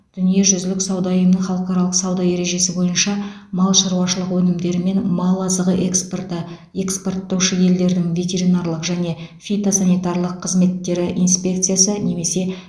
дүниежүзілік сауда ұйымының халықаралық сауда ережесі бойынша мал шаруашылығы өнімдері мен мал азығы экспорты экспорттаушы елдердің ветеринарлық және фитосанитарлық қызметтері инспекциясы немесе